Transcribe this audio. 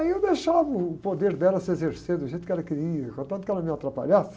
Aí eu deixava o poder dela se exercer do jeito que ela queria, contanto que ela não me atrapalhasse,